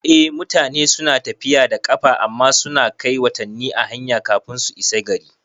Eh, mutane suna tafiya da ƙafa amma suna kai watanni a hanya kafin su isa gari